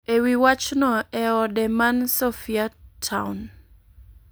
e wi wachno e ode man Sophiatown.